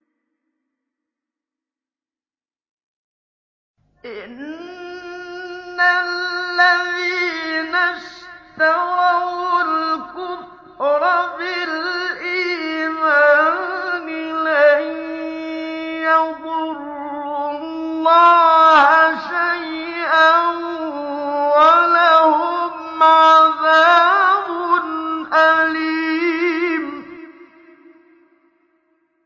إِنَّ الَّذِينَ اشْتَرَوُا الْكُفْرَ بِالْإِيمَانِ لَن يَضُرُّوا اللَّهَ شَيْئًا وَلَهُمْ عَذَابٌ أَلِيمٌ